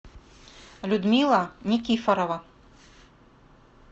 людмила никифорова